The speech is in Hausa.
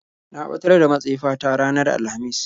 Na ɓatar da matsefa ta ranar alhamis.